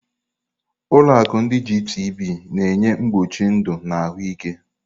Ụlọ akụ ndi Gitibii na-enye mkpuchi ndụ na ahụike.